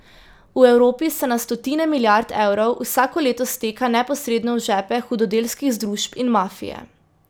V Evropi se na stotine milijard evrov vsako leto steka neposredno v žepe hudodelskih združb in mafije.